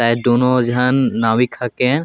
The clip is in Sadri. शायद दूनों झन नाविक हाकेन।